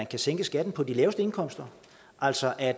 kan sænke skatten på de laveste indkomster altså at